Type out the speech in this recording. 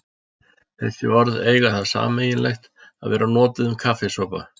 Þessi orð eiga það sameiginlegt að vera notuð um kaffisopa.